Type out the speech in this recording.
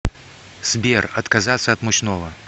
сбер отказаться от мучного